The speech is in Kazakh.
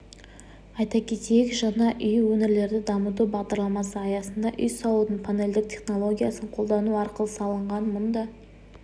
айта кетейік жаңа үй өңірлерді дамыту бағдарламасы аясында үй салудың панельдік технологиясын қолдану арқылы салынған мұнда